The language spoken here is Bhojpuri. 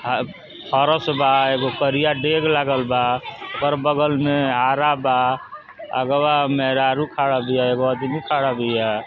हा फरस बा। एगो करिया डेग लागल बा। कर बगल में आरा बा। आगवा मेहरारू खड़ा बिया एगो अदमी खड़ा बिया।